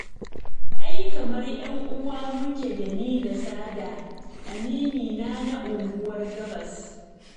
Ai kamar 'yanuwa muke da ni da Sada aminina na Unguwar Gabas